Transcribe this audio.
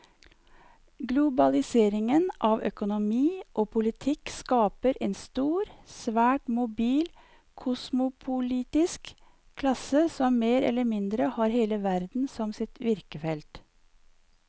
Globaliseringen av økonomi og politikk skaper en stor, svært mobil kosmopolitisk klasse som mer eller mindre har hele verden som sitt virkefelt.